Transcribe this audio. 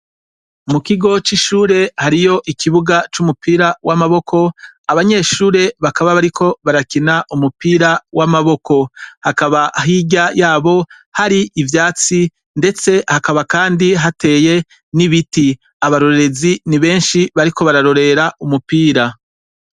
Mu kigo c'ishure hariyo ikibuga c'umupira w'amaboko abanyeshure bakaba bariko barakina umupira w'amaboko hakaba hirya yabo hari ivyatsi, ndetse hakaba, kandi hateye n'ibiti abarorerezi ni benshi bariko bararorera umupira.